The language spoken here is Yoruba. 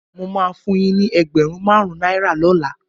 Mo máa fun yín ní ẹgbẹ̀rún márùn-ún náírà lọ́la.